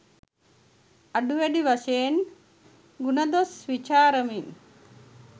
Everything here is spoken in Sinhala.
අඩුවැඩි වශයෙන් ගුණදොස් විචාරමින්